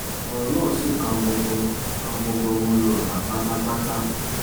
ọ̀rọ̀ náà sì kan gbogbo kan gbogbo ọmọ yorùbá pátápátá